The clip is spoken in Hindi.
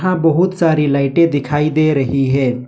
यहां बहुत सारी लाइटें दिखाई दे रही है।